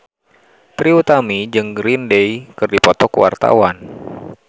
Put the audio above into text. Trie Utami jeung Green Day keur dipoto ku wartawan